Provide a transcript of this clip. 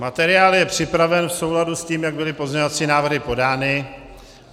Materiál je připraven v souladu s tím, jak byly pozměňovací návrhy podány.